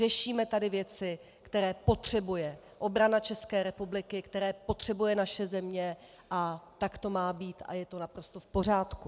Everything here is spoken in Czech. Řešíme tady věci, které potřebuje obrana České republiky, které potřebuje naše země, a tak to má být a je to naprosto v pořádku.